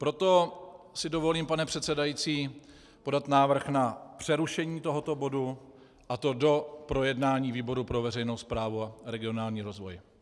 Proto si dovolím, pane předsedající, podat návrh na přerušení tohoto bodu, a to do projednání výboru pro veřejnou správu a regionální rozvoj.